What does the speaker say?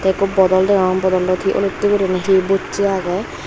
ikko bodol degong bodolot olottey guriney hi bosse agey.